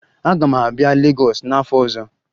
Aga m abịa Legọs n'afọ ọzọ